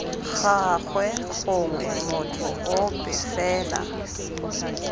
gagwe gongwe motho ope fela